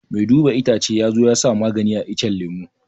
Mai duba itacce ya zo ya sa magani a iccen lemu